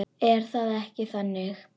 Er það ekki þannig?